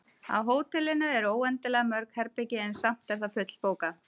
Á hótelinu eru óendanlega mörg herbergi, en samt er það fullbókað.